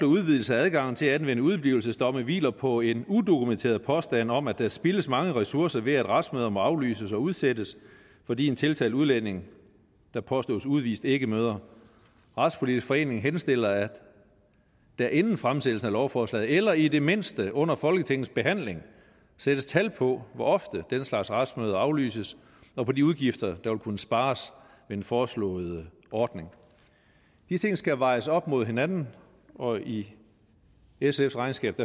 udvidelse af adgangen til at anvende udeblivelsesdomme hviler på en udokumenteret påstand om at der spildes mange ressourcer ved at retsmøder må aflyses og udsættes fordi en tiltalt udlænding der påstås udvist ikke møder retspolitisk forening henstiller at der inden fremsættelsen af lovforslaget eller i det mindste under folketingets behandling sættes tal på hvor ofte den slags retsmøder aflyses og på de udgifter der vil kunne spares ved den foreslåede ordning de ting skal vejes op mod hinanden og i sfs regnskab